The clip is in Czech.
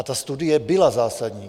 A ta studie byla zásadní.